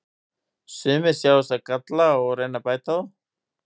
Sumir sjá þessa galla og reyna að bæta þá.